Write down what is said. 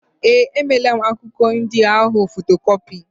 Ee, emeela m akwụkwọ ndị ahụ fotokọpi.